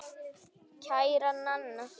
Kæra Nanna.